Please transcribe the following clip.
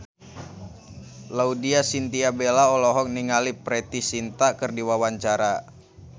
Laudya Chintya Bella olohok ningali Preity Zinta keur diwawancara